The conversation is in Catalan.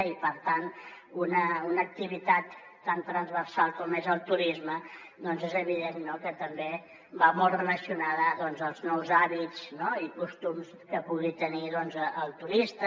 i per tant una activitat tan transversal com és el turisme és evident que també va molt relacionada als nous hàbits i costums que pugui tenir el turista